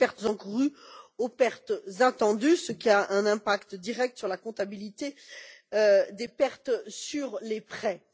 encourues aux pertes attendues, ce qui a un impact direct sur la comptabilité des pertes sur les prêts.